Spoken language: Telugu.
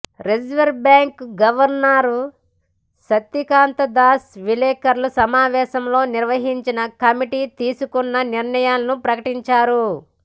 reserve bank governor Shaktikanta Das విలేకరుల సమావేశం నిర్వహించి కమిటీ తీసుకున్న నిర్ణయాలను ప్రకటించారు